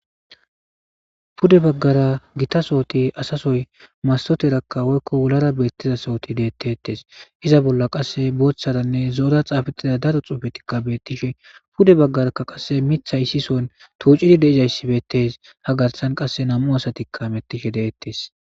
Pude bagara gita sooti asa soy mastoteraka woyko wularaka beetiza sooti beetetees. Iza bolla qasse zo'ora boothara xaafetida daro xuufetika beetishe. Pude baggaraka qasse miththay issi soon tuucidi dizayssi beetees. Ha garsan qase nam'u asati hametishe dizaysi beetees.